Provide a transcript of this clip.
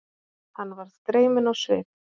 Hann varð dreyminn á svip.